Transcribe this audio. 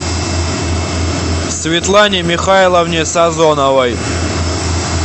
светлане михайловне сазоновой